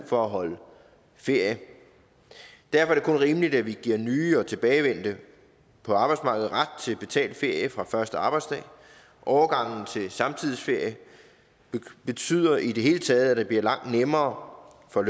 for at holde ferie derfor er rimeligt at vi giver nye og tilbagevendte på arbejdsmarkedet ret til betalt ferie fra første arbejdsdag overgangen til samtidsferie betyder i det hele taget at det bliver langt nemmere for